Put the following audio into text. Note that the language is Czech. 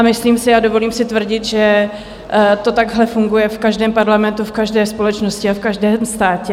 A myslím si a dovolím si tvrdit, že to takhle funguje v každém parlamentu, v každé společnosti a v každém státě.